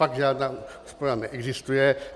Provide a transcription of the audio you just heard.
Fakt žádná škoda neexistuje.